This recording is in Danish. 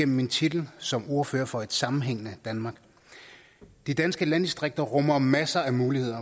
min titel som ordfører for et sammenhængende danmark de danske landdistrikter rummer masser af muligheder